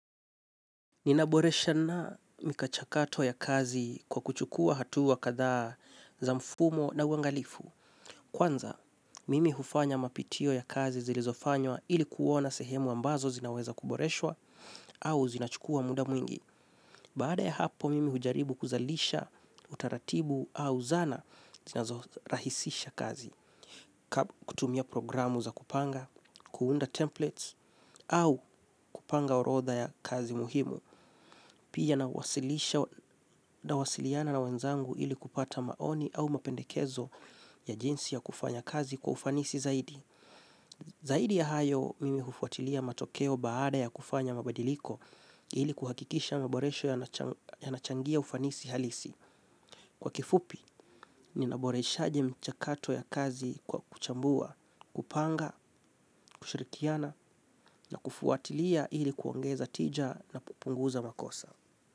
Ninaboresha na michakato ya kazi kwa kuchukua hatuwa kadhaa za mfumo na uangalifu. Kwanza, mimi hufanya mapitio ya kazi zilizofanywa ili kuona sehemu ambazo zinaweza kuboreshwa au zinachukua muda mwingi. Baada ya hapo mimi hujaribu kuzalisha utaratibu au zana zinazorahisisha kazi. Kutumia programu za kupanga, kuunda templates au kupanga orodha ya kazi muhimu. Pia nawasilisha nawasiliana na wenzangu ili kupata maoni au mapendekezo ya jinsi ya kufanya kazi kwa ufanisi zaidi. Zaidi ya hayo mimi hufuatilia matokeo baada ya kufanya mabadiliko ili kuhakikisha maboresho yanachangia ufanisi halisi. Kwa kifupi, ninaboresha mchakato ya kazi kwa kuchambua, kupanga, kushirikiana na kufuatilia ili kuongeza tija na kupunguza makosa.